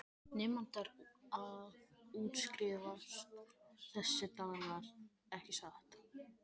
Nemendur að útskrifast þessa dagana ekki satt.